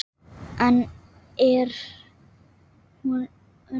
Enn er hún Una